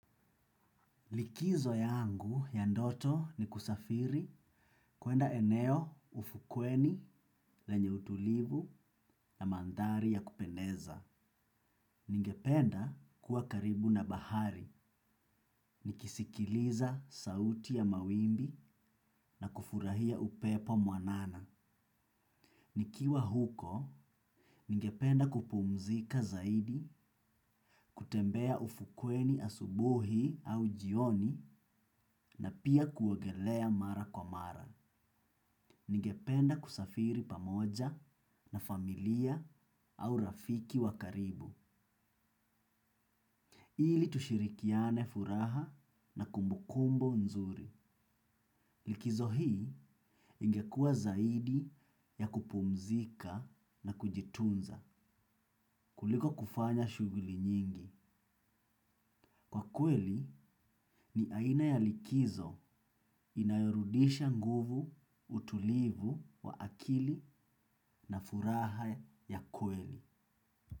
Likizo yangu ya ndoto ni kusafiri kuenda eneo ufukweni lenye utulivu na manthari ya kupendeza. Ningependa kuwa karibu na bahari, nikisikiliza sauti ya mawimbi na kufurahia upepo mwanana. Nikiwa huko, ningependa kupumzika zaidi, kutembea ufukweni asubuhi au jioni na pia kuogelea mara kwa mara. Ningependa kusafiri pamoja na familia au rafiki wa karibu. Ili tushirikiane furaha na kumbukumbu nzuri. Likizo hii ingekua zaidi ya kupumzika na kujitunza kuliko kufanya shughuli nyingi. Kwa kweli ni aina ya likizo inayorudisha nguvu utulivu wa akili na furaha ya kweli.